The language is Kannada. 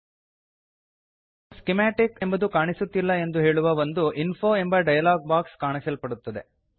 ಸ್ಕಿಮಾಟಿಕ್ ಸ್ಕಿಮ್ಯಾಟಿಕ್ ಎಂಬುದು ಕಾಣಿಸುತ್ತಿಲ್ಲ ಎಂದು ಹೇಳುವ ಒಂದು ಇನ್ಫೋ ಎಂಬ ಡಯಲಾಗ್ ಬಾಕ್ಸ್ ಕಾಣಲ್ಪಡುತ್ತದೆ